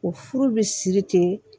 O furu bɛ siri ten